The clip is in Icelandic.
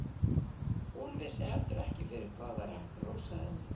Hún vissi heldur ekki fyrir hvað væri hægt að hrósa henni.